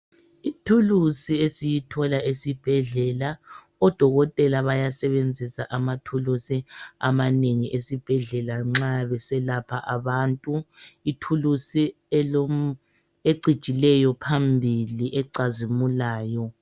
Ithulusi esiyithola esibhedlela, odokotela bayasebenzisa amathulusi amanengi esibhedlela nxa beselapha abantu. Ithulusi ecijileyo phambili ecazimulayo.